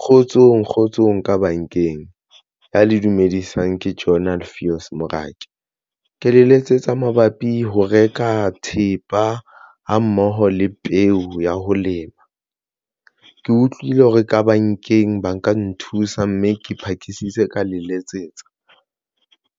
Kgotsong kgotsong ka bankeng ya le dumedisang ke Journal Fios Morake ke le letsetsa mabapi ho reka thepa ha mmoho le peo ya ho lema. Ke utlwile hore ka bankeng ba nka nthusa mme ke phakisitse ka le letsetsa